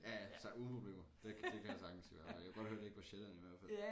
Ja ja altså uden problemer det det kan jeg sagtens høre ej jeg kunne godt høre at det ikke var Sjælland i hvert fald